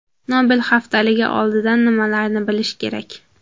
Nobel haftaligi oldidan nimalarni bilish kerak?